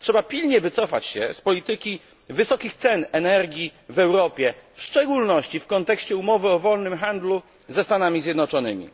Trzeba pilnie wycofać się z polityki wysokich cen energii w Europie, w szczególności w kontekście umowy o wolnym handlu ze Stanami Zjednoczonymi.